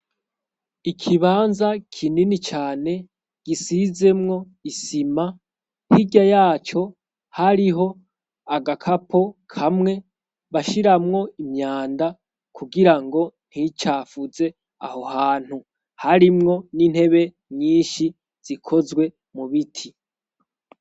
ikibanza kinini cane gisizemwo isima mpiga yaco hariho agakapo kamwe bashiramwo imyanda kugira ngo nticafuze aho hantu harimwo n'intebe nyinshi zikozwe mu biti